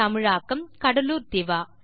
தமிழாக்கம் கடலூர் திவா